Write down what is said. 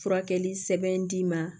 Furakɛli sɛbɛn d'i ma